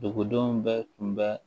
Dugudenw bɛɛ tun bɛ